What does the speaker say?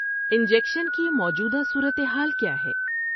Injection کی موجودہ صورتحال کیا ہے؟